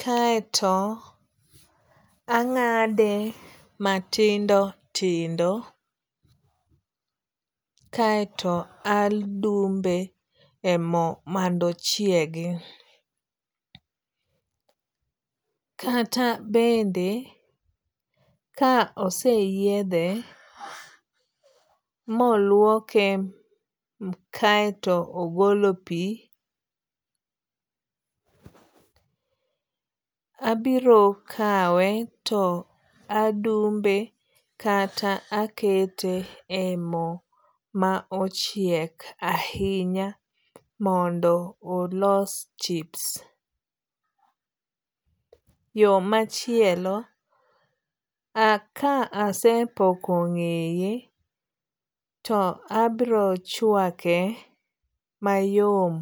kaeto ang'ade matindo tindo. Kaeto adumbe e mo mondo ochiegi. Kata bende ka ose yiedhe moluoke kaeto ogolo pi abiro kawe to adumbe kata akete e mo ma ochiek ahinya mondo olos chips. Yo machielo, ka asepoko ng'eye to abiro chwake mayom.